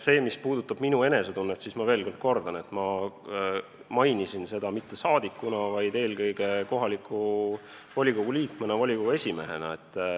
Mis puudutab minu enesetunnet, siis ma kordan, et ma mainisin seda mitte rahvasaadikuna, vaid eelkõige kohaliku omavalitsuse liikmena, volikogu esimehena.